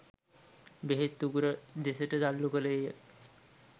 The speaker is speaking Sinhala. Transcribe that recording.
බෙහෙත් උගුර දෙසට තල්ලු කළේය